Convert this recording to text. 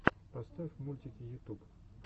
поставь мультики ютуб